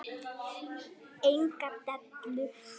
Enga dellu!